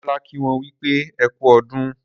Demola kí wón wípé ẹkú ọdún.